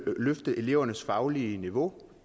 løfte elevernes faglige niveau